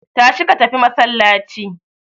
Tashi ka tafi masallaci!